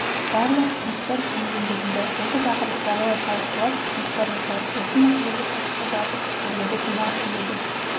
барлық ұсыныстар жүйелендірілді осы тақырыптарды да талқылап ұсыныстар жасайық осы мәселеге қатысты барлық пікірлерді тыңдағым келеді